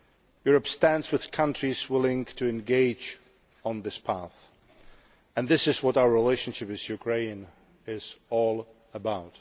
Europe stands with countries willing to engage on this path, and this is what our relationship with Ukraine is all about.